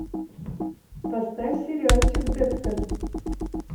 поставь сериальчик декстер